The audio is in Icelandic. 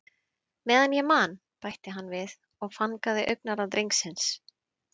Meðan ég man- bætti hann við og fangaði augnaráð drengsins.